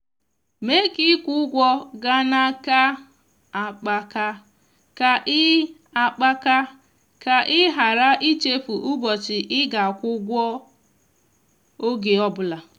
mee ka ịkwụ ụgwọ gaa n'aka akpaka ka ị akpaka ka ị ghara ichefu ụbọchị ị ga-akwụ ụgwọ ọge ọbụla.